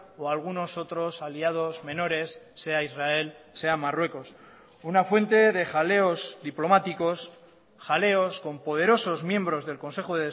o algunos otros aliados menores sea israel sea marruecos una fuente de jaleos diplomáticos jaleos con poderosos miembros del consejo